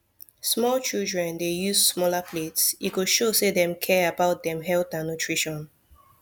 small childern dey use smaller plates e go show say dem care about dem health and nutrition